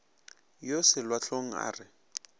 yo selwa hlong a re